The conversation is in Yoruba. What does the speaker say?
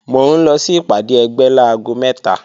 Mò ń lọ sí ìpàdé ẹgbẹ́ láago mẹ́ta